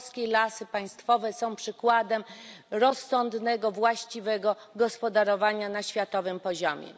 Polskiej Lasy Państwowe są przykładem rozsądnego, właściwego gospodarowania na światowym poziomie.